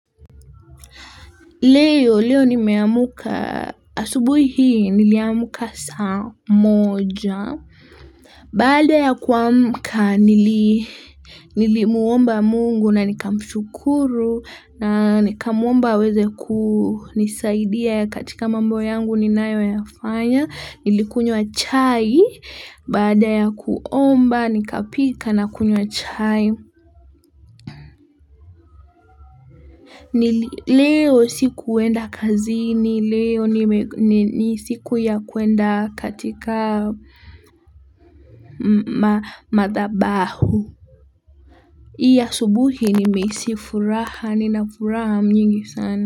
Leo, leo nimeamka, asubuhi hii, niliamka saa moja. Baada ya kuamka, nilimwomba mungu na nikamshukuru, na nikamwomba aweze kunisaidia katika mambo yangu ninayoyafanya, nilikunywa chai. Baada ya kuomba, nikapika na kunywa chai. Ni leo sikuenda kazini leo ni siku ya kuenda katika madhabahu. Hii asubuhi nimehisi furaha nina furaha nyingi sana.